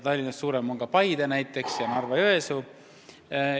Tallinnast suuremad on ka näiteks Paide ja Narva-Jõesuu.